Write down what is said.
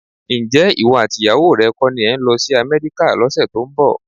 Ǹjẹ́ ìwọ àti ìyàwó rẹ kọ́ ni ẹ ń lọ sí Amẹ́ríkà lọ́sẹ̀ tó ń bọ̀?